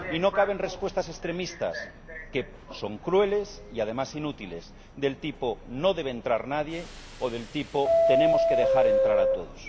Y no caben respuestas extremistas, que son crueles y además inútiles, del tipo no debe entrar nadie o del tipo tenemos que dejar entrar a todos.